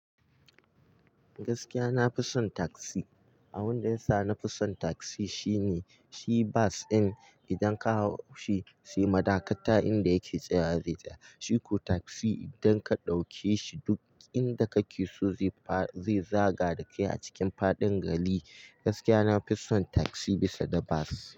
Gaskiya na fi son taksi. Abun da ya sa na fi son taksi shine shi bas in idan ka hau shi sai madakata inda yake tsaya zai tsaya. Shiku taksi idan ka ɗauke shi duk inda kake so zai zagada kai a cikin faɗin gari. Gaskiya na fi son taksi bisa da bas.